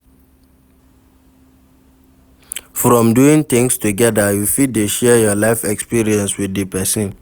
From doing things together you fit de share your life experience with di persin